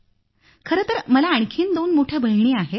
खरंतर मला आणखी दोन मोठ्या बहिणी आहेत